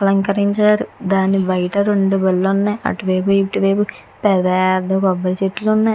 అలంకరించారు దాని బయట రెండు బండ్లు ఉన్నాయి. అటు వయపు ఇటు వయపు పెద్ద పెద్ద కొబ్బరి చెట్లు ఉన్నాయి.